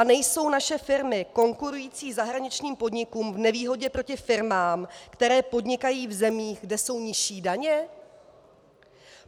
A nejsou naše firmy konkurující zahraničním podnikům v nevýhodě proti firmám, které podnikají v zemích, kde jsou nižší daně?